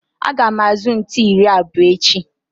Aga m azụ ntu iri abụọ echi